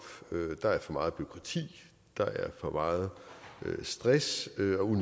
der er for meget bureaukrati der er for meget stress